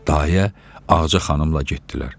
Dayə Ağaca xanımla getdilər.